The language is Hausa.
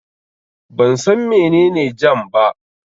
Ban san mene ne jam ba